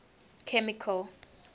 chemical